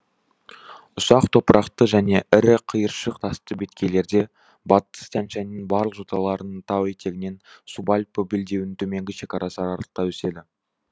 ұсақ топырақты және ірі қиыршық тасты беткейлерде батыс тянь шаньның барлық жоталарының тау етегінен субальпі белдеуінің төменгі шекарасы аралықта өседі